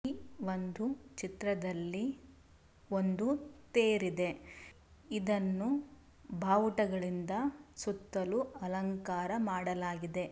ಈ ಒಂದು ಚಿತ್ರದಲ್ಲಿ ಒಂದು ತೇರು ಇದೆ ಇದನ್ನು ಬಾವುಟಗಳಿಂದ ಸುತ್ತಲೂ ಅಲಂಕಾರ ಮಾಡಲಾಗಿದೆ.